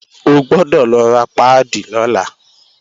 O gbọ́dọ̀ lọ ra páàdì lọ́la!